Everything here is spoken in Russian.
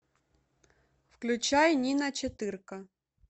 включай нина четырка